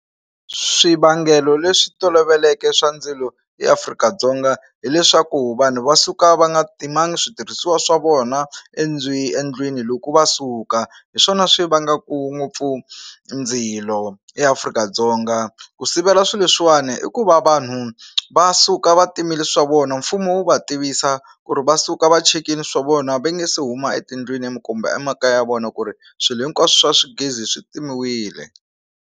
Swivangelo leswi toloveleke swa ndzilo eAfrika-Dzonga hileswaku vanhu va suka va nga timanga switirhisiwa swa vona endlwini loko va suka hi swona swi vangaku ngopfu ndzilo eAfrika-Dzonga ku sivela swilo leswiwani i ku vavanuna va suka va timeli swilo swa vona mfumo wu va tivisa ku ri va suka va chekile swilo swa vona va nga se huma etindlwini minkumba emakaya ya vona ku ri swilo hinkwaswo swa gezi swi timiwile.